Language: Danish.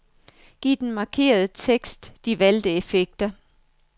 Giv den markerede tekst de valgte effekter.